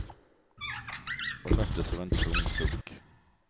Och möttes av en tung suck.